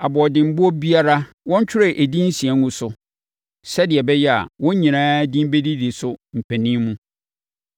Aboɔdenboɔ biara, wɔntwerɛ edin nsia ngu so, sɛdeɛ ɛbɛyɛ a, wɔn nyinaa din bɛdidi so mpanin mu.